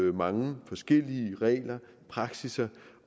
var mange forskellige regler praksisser